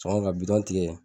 Sɔngɔ ka tigɛ